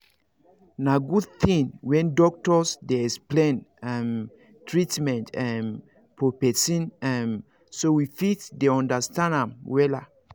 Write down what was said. na good thing when doctors dey explain um treatment um for person um so we fit dey understand am wella